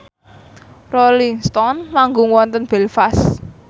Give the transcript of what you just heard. Rolling Stone manggung wonten Belfast